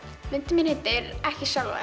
myndin mín heitir ekki sjálfa